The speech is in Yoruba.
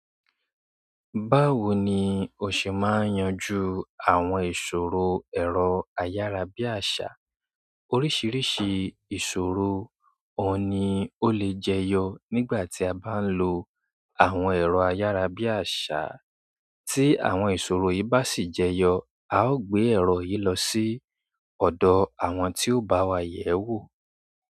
Báwo ni o ṣe máa ń yanjú àwọn ìṣòro ẹ̀rọ ayárabíàṣá? Oríṣiríṣi ìṣòro òun ni ó lè jẹyọ nígbà tí a bá ń lo àwọn ẹ̀rọ ayárabíàṣá. Tí àwọn ìṣòro yìí bá sì jẹyọ, a ó gbé ẹ̀rọ yìí lọ sí ọ̀dọ̀ àwọn tí ó bá wa yẹ̀wò.